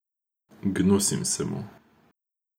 Gnusim se mu.